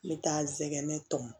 N bɛ taa n sɛgɛn tɔmɔ